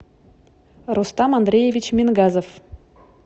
рустам андреевич мингазов